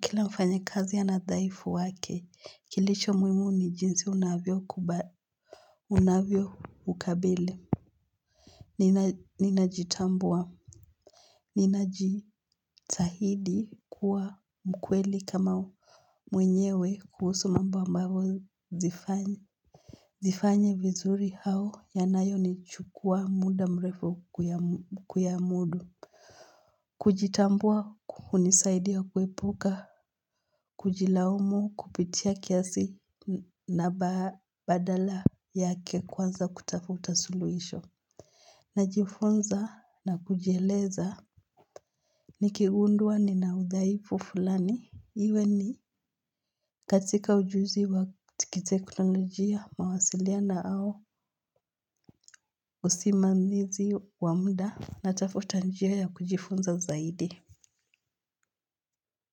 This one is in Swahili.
Kila mfanyakazi ana udhaifu wake, kilicho muhimu ni jinsi unavyoukabili. Ninajitambua. Ninajitahidi kuwa mkweli kama mwenyewe kuhusu mambo ambayo zifanye vizuri au yanayonichukua muda mrefu kuyamudu. Kujitambua hunisaidia kuepuka kujilaumu kupitia kiasi na badala yake kuanza kutafuta suluhisho. Najifunza na kujeleza. Nikigundua nina udhaifu fulani iwe ni katika ujuzi wa kiteknolojia mawasiliana au usimamizi wa muda natafuta njia ya kujifunza zaidi.